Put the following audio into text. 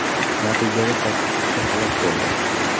Natijada sakkiz kishi halok bo‘ldi.